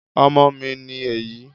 ọmọ mi ní èyí